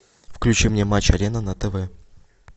включи мне матч арена на тв